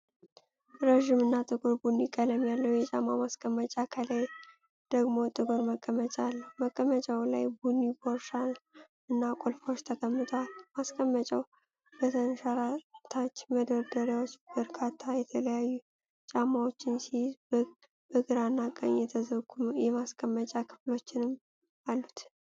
ረጅም እና ጥቁር ቡኒ ቀለም ያለው የጫማ ማስቀመጫ፣ ከላይ ደግሞ ጥቁር መቀመጫ አለው። መቀመጫው ላይ ቡኒ ቦርሳ እና ቁልፎች ተቀምጠዋል። ማስቀመጫው በተንሸራታች መደርደሪያዎች በርካታ የተለያዩ ጫማዎችን ሲይዝ፣ በግራና ቀኝ የተዘጉ የማስቀመጫ ክፍሎችም አሉት።